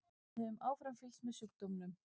Við höfum áfram fylgst með sjúkdómnum.